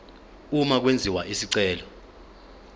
uma kwenziwa isicelo